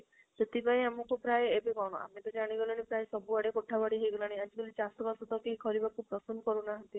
ସେଥିପାଇଁ ଆମକୁ ପ୍ରାଯ ଏବେ କଣ ଆମେ ତ ଜାଣି ଗଲେଣି ପ୍ରାଯ ସବୁ ଆଡେ ହେଇ ଗଲାଣି ଆଜି କାଲି ଚାଷ ବାସ ତ କେହି କରିବାକୁ ପସନ୍ଦ କରୁ ନାହାନ୍ତି